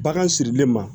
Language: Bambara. Bagan sirilen ma